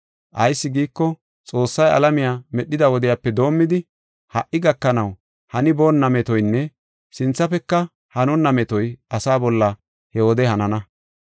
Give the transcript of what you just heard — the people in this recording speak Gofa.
Ayis giiko, Xoossay alamiya medhida wodiyape doomidi, ha77i gakanaw haniboonna metoynne sinthafeka hanonna metoy asa bolla he wode hanana.